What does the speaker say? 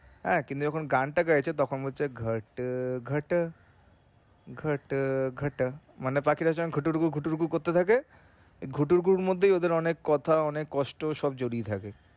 হ্যা কিন্তু যখন গানতা গাইছে তখন বলছে ঘট ঘটা ঘট ঘটা মানে পাখিটা যখন করতে থাকে এই এর মধ্যে ওদের অনেক কথা অনেক কষ্ট সব জড়িয়ে থাকে।